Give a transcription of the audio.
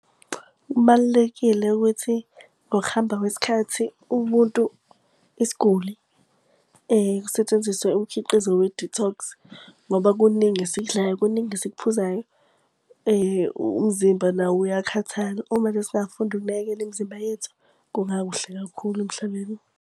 Kubalulekile ukuthi ngokuhamba kwesikhathi umuntu isiguli kusetshenziswe umkhiqizo we-detox. Ngoba kuningi esikudlayo kuningi esikuphuzayo, umzimba nawo uyakhathala. Uma nje singafunda ukunakekela imizimba yethu, kungakuhle kakhulu emhlabeni.